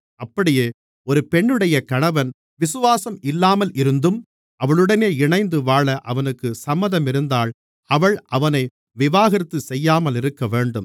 அப்படியே ஒரு பெண்ணுடைய கணவன் விசுவாசம் இல்லாமலிருந்தும் அவளுடனே இணைந்து வாழ அவனுக்குச் சம்மதமிருந்தால் அவள் அவனை விவாகரத்து செய்யாமலிருக்கவேண்டும்